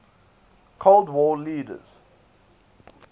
cold war leaders